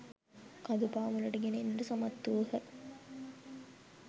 කඳු පාමුලට ගෙන එන්නට සමත් වූහ.